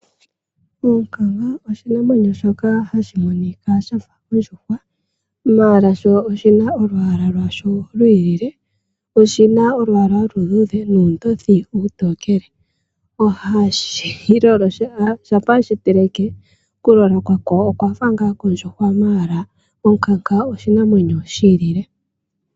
Oonkanga oshinamwenyo shoka hashi monika shafa ondjuwa, ashike sho oshina olwaala lwasho lwi ilile. Oshina olwaala oluluudhe nuundothi uutokele. Shampa weshi teleke oku lola kwasho okwa fa ngaa kondjuhwa ashike onkanga oshinamwenyo shi ilile.